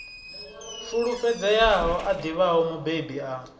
fulufhedzeaho a ḓivhaho mubebi a